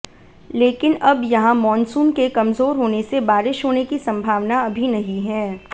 लेकिन अब यहां मॉनसून के कमजोर होने से बारिश होने की संभावना अभी नहीं है